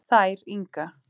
Þær Inga